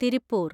Tiruppur